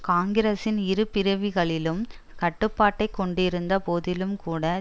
காங்கிரசின் இரு பிரிவுகளிலும் கட்டுப்பாட்டை கொண்டிருந்த போதிலும்கூட